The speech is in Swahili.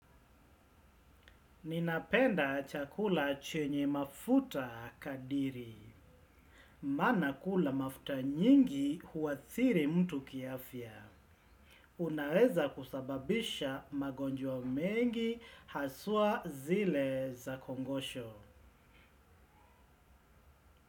Ninapenda chakula chenye mafuta kadiri. Maana kula mafuta nyingi huathiri mtu kiafya. Unaweza kusababisha magonjwa mengi haswa zile za kongosho.